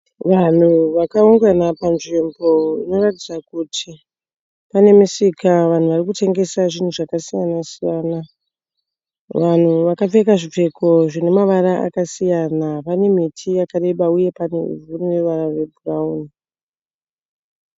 Vanhu vakaungana panzvimbo inoratidza kuti pane misika. Vanhu varikutengesa zvinhu zvakasiyana siyana. Vanhu vakapfeka zvipfeko zvine mavara akasiyana. Pane miti yakareba uye pane ivhu rine ruwara rwe bhurauni.